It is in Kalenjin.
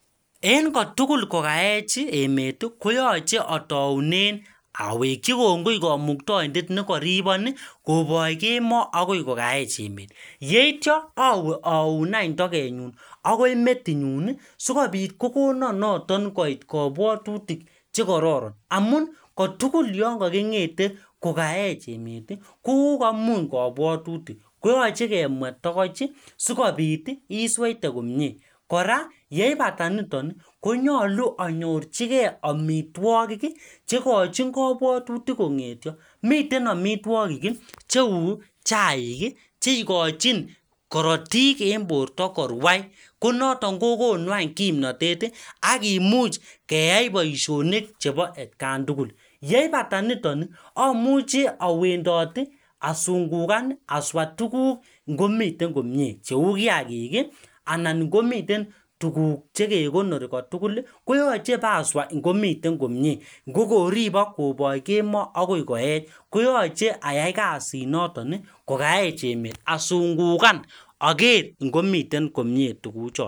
en kotugul kokaech emet ii koyoche otounen awekyi kongoi kamuktaindet ne koribon ii kopoch kemoo akoi kokaech emet yeityo awee aun any togenyun agoi metinyun sikopit kokonon noton koit kobwotutik chekororon amun kotugul yonkoking'ete kokaech emet ii kokokoimuny kobwotutik koyoche kemwet tagoch ii sikopit ii isweite komye kora yeipata nitok ii konyolu anyorjigee amitwokik cheigochin kobwotutik kong'etyo miten amitwokik cheu chaik ii cheigochin korotik en borto korwai konotok kokonu any kimnotet ii akimuch keyai boishonik chepo atkan tugul yeipata niton ii amuche awendot ii asungugan aswa tuguk ng'omiten komye cheu kiyakik anan komiten tuguk che kekonori koyoche paswa ng'omiten komye ng'okoribok koboch kemoo akoi koech koyoche ayai kazinotok kokaech emet asungugan oger ngomiten kommye tuguchon